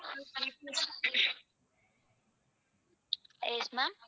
yes ma'am